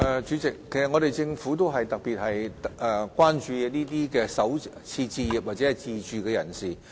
主席，政府特別關注首次置業自住人士。